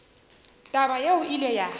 taba yeo e ile ya